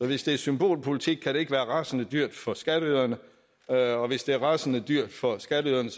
hvis det er symbolpolitik kan det ikke være rasende dyrt for skatteyderne og hvis det er rasende dyrt for skatteyderne